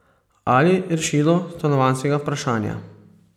Ali rešilo stanovanjskega vprašanja.